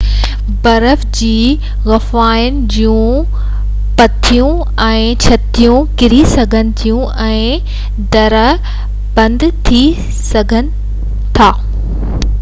برف جي غفائن جون ڀتيون ۽ ڇتون ڪري سگهن ٿيون ۽ درار بند ٿي سگهي ٿي